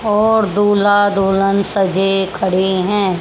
और दूल्हा दुल्हन सजे खड़े हैं।